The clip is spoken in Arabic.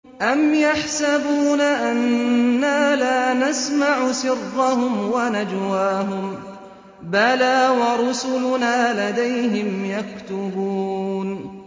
أَمْ يَحْسَبُونَ أَنَّا لَا نَسْمَعُ سِرَّهُمْ وَنَجْوَاهُم ۚ بَلَىٰ وَرُسُلُنَا لَدَيْهِمْ يَكْتُبُونَ